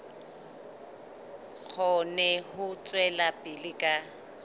kgone ho tswela pele ka